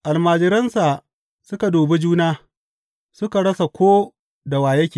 Almajiransa suka dubi juna, suka rasa ko da wa yake.